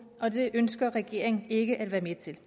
og det ønsker regeringen ikke at være med til